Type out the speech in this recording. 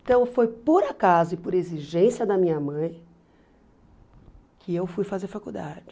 Então foi por acaso e por exigência da minha mãe que eu fui fazer faculdade.